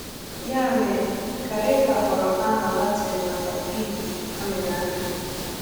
Ya mere, carica ghọrọ aha Latin maka fig a mịrị amị.